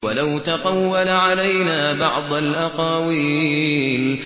وَلَوْ تَقَوَّلَ عَلَيْنَا بَعْضَ الْأَقَاوِيلِ